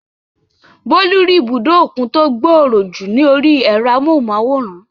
Bólú rí ibùdó òkun tó gbòòrò jù ní orí ẹ̀rọ amóhùnmáwòrán